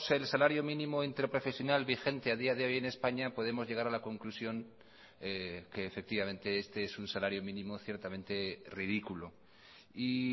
el salario mínimo interprofesional vigente a día de hoy en españa podemos llegar a la conclusión que efectivamente este es un salario mínimo ciertamente ridículo y